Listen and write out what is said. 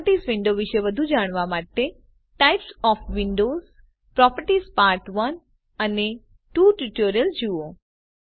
properties window વિશે વધુ જાણવા માટે types of windows properties part 1 and 2 tutorials જુઓ